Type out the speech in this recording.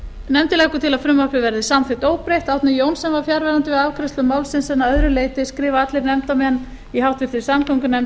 nefndin leggur til að frumvarpið verði samþykkt óbreytt árni johnsen var fjarverandi við afgreiðslu málsins en að öðru leyti skrifa allir nefndarmenn í háttvirtri samgöngunefnd